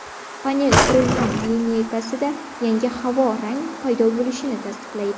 Panel qurilma lineykasida yangi havo rang paydo bo‘lishini tasdiqlaydi.